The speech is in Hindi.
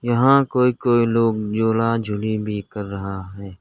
यहां कोई कोई लोग झूला झूली भी कर रहा है।